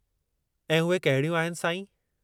ऐं उहे कहिड़ियूं आहिनि, साईं?